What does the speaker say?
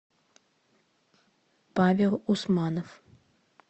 павел усманов